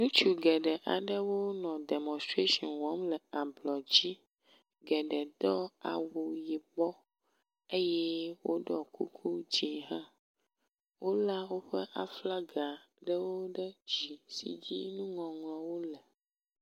Ŋutsu geɖe aɖewo nɔ demɔnstration wɔm le ablɔ dzi. Geɖe do awu yibɔ eye woɖɔ kuku dzi hã. Wo le woƒe aflaga ɖewo ɖe dzi si dzi nuŋɔŋlɔwo le.